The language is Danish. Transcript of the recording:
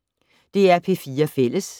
DR P4 Fælles